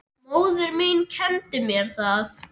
Móðir mín kenndi mér það.